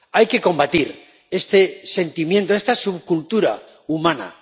Hay que combatir este sentimiento, esta subcultura humana.